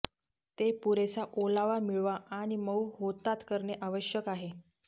ते पुरेसा ओलावा मिळवा आणि मऊ होतात करणे आवश्यक आहे